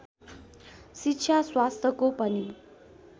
शिक्षा स्वास्थ्यको पनि